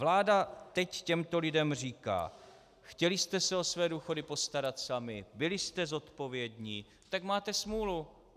Vláda nyní těmto lidem říká: Chtěli jste se o své důchody postarat sami, byli jste zodpovědní, tak máte smůlu.